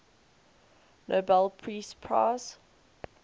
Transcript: nobel peace prize